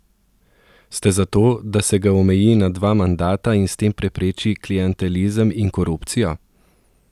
Ste za to, da se ga omeji na dva mandata in s tem prepreči klientelizem in korupcijo?